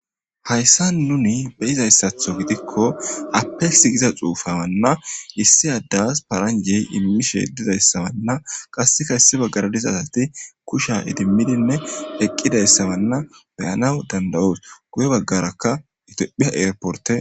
Hayisani nuni beyizatho gidiko apexi gida xufe dizayianne issi adeyi paranjasi imishe dizayisa qassika issi bagara diza asati kushiya idimiine eqidayisa beyanawu danidayosi, guye baggara ethiopila airport